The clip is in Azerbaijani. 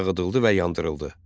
Dağıdıldı və yandırıldı.